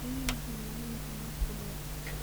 Riyuhu waxay noolaan karaan waqti dheer.